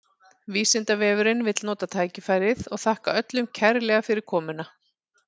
Vísindavefurinn vill nota tækifærið og þakka öllum kærlega fyrir komuna!